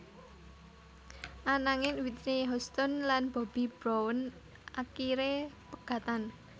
Ananging Whitney Houston lan Bobby Brown akiré pegatan